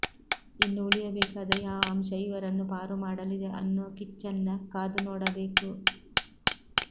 ಇನ್ನು ಉಳಿಯಬೇಕಾದ ಯಾವ ಅಂಶ ಇವರನ್ನು ಪಾರು ಮಾಡಲಿದೆ ಅನ್ನೋ ಕಿಚ್ಚನ್ನ ಕಾದು ನೋಡಬೇಕು